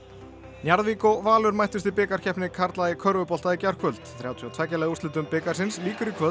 Njarðvík og Valur mættust í bikarkeppni karla í körfubolta í gærkvöld þrjátíu og tveggja liða úrslitum bikarsins lýkur í kvöld